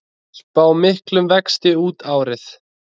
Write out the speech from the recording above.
Spá miklum vexti út árið